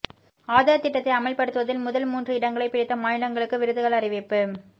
ஆதார் திட்டத்தை அமல்படுத்துவதில் முதல் மூன்று இடங்களை பிடித்த மாநிலங்களுக்கு விருதுகள் அறிவிப்பு